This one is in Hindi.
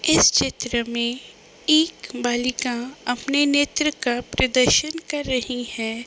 इस चित्र में एक बालिका अपने नेत्र का प्रदर्शन कर रही है।